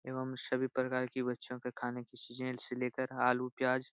एवं सभी प्रकार की बच्चो के खाने की चीज़े से लेकर आलू प्याज --